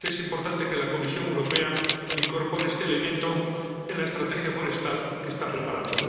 Es importante que la Comisión Europea incorpore este elemento en la estrategia forestal que está preparando.